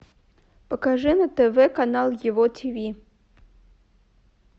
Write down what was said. покажи на тв канал его тиви